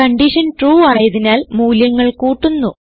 condition true ആയതിനാൽ മൂല്യങ്ങൾ കൂട്ടുന്നു